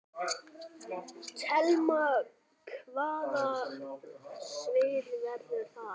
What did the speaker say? Telma: Hvaða svið verður það?